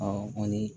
kɔni